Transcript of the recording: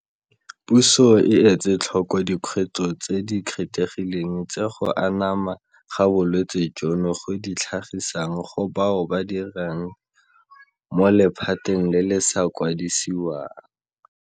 Puso e etsetlhoko dikgwetlho tse di kgethegileng tse go anama ga bolwetse jono go di tlhagisang go bao ba dirang mo lephateng le le sa kwadisiwang.